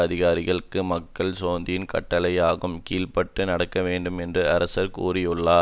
அதிகாரிகளும் மக்களும் சோந்தியின் கட்டளைகளுக்கு கீழ்ப்பட்டு நடக்க வேண்டும் என்றும் அரசர் கூறியுள்ளார்